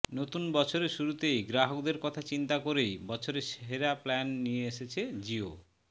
নতুন বছরের শুরুতেই গ্রাহকদের কথা চিন্তা করেই বছরের সেরা প্ল্যান নিয়ে এসেছে জিও